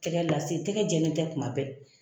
Takɛ lase tɛkɛ jɛlen tɛ tuma bɛɛ.